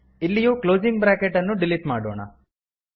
ಇಲ್ಲಿಯೂ closing bracket ಅನ್ನು delete ಮಾಡೋಣ